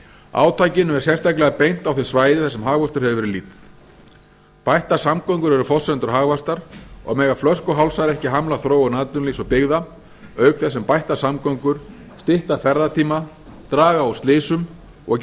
átakinu er sérstaklega beint á þau svæði þar sem hagvöxtur hefur verið lítill bættar samgöngur eru forsenda hagvaxtar og mega flöskuhálsar ekki hamla þróun atvinnulífs og byggða auk þess sem bættar samgöngur stytta ferðatíma draga úr slysum og